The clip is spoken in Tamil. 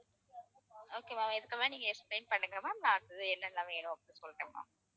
okay ma'am இதுக்கு மேல நீங்க explain பண்ணுங்க ma'am நான் அடுத்தது என்னலாம் வேணும் அப்படின்னு சொல்றேன் ma'am